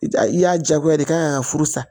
I a i y'a diyagoya i kan furu sa